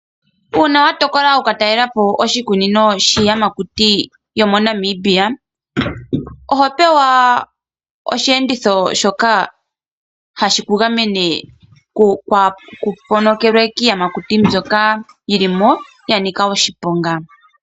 Uuna watokola oku ka talelapo oshikunino shiiyamakuti yomoNamibia ohopewa oshiyenditho shoka hashi kugamene ku ponokelwe kiiyamakuti mbyoka yilimo ya nika oshiponga.